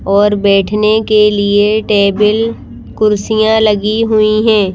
और बैठने के लिए टेबल कुर्सियां लगी हुई हैं।